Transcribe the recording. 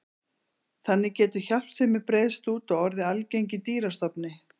Þannig getur hjálpsemi breiðst út og orðið algeng í dýrastofni.